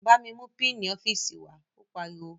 Bámi mú pínǹì ọ́fíìsì wàá, ó pariwo